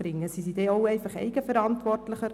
Sind die Leute dort eigenverantwortlicher?